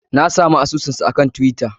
Na samu asusunsa kan twitter.